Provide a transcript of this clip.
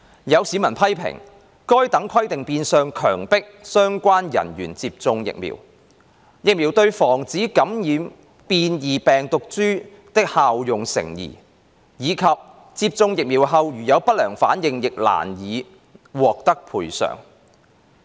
有市民批評，該等規定變相強迫相關人員接種疫苗、疫苗對防止感染變異病毒株的效用成疑，以及接種疫苗後如有不良反應亦難以獲得賠償。